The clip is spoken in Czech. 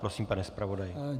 Prosím, pane zpravodaji.